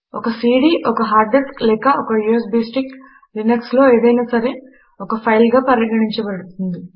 ఒక సీడీ ఒక hard disk లేక ఒక యూఎస్బీ స్టిక్ Linuxలో ఏదైనా సరే ఒక ఫైలుగా పరిగణించబడుతుంది